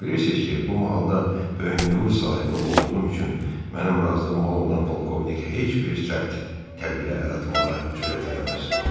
Bilirsiniz ki, bu mahalda böyük nüfuz sahibi olduğum üçün mənim razılığım olmadan polkovnik heç bir sərt tədbirə əl atmağa cürət eləməz.